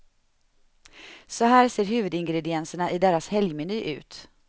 Så här ser huvudingredienserna i deras helgmeny ut.